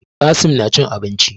Qassim na cin abinci